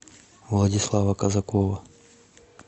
владислава казакова